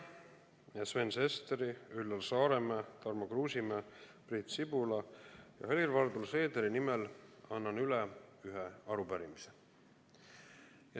Annan enda ja Sven Sesteri, Üllar Saaremäe, Tarmo Kruusimäe, Priit Sibula ja Helir-Valdor Seederi nimel üle ühe arupärimise.